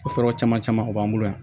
O sɔrɔ caman caman o b'an bolo yan